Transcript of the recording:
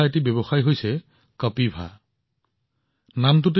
এটা ষ্টাৰ্টআপ আছে কাপিভা কাপিৱা